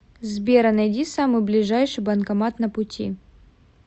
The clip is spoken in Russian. сбер а найди самый ближайший банкомат на пути